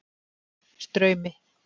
Straumi